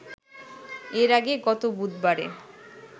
এর আগে গত বুধবারে